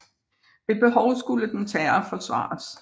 Ved behov skulle dens herre forsvares